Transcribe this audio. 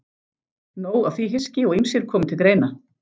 Nóg af því hyski og ýmsir komu til greina.